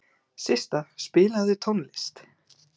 Systa, spilaðu tónlist.